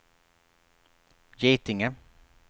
Getinge